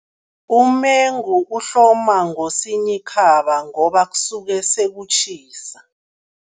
Umengu uhloma ngoSinyikhaba ngoba kusuke sekutjhisa.